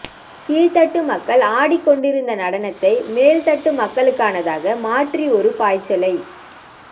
கீழ்தட்டு மக்கள் ஆடிக்கொண்டிருந்த நடனத்தை மேல்தட்டு மக்களுக்கானதாக மாற்றி ஒரு பாய்ச்சலை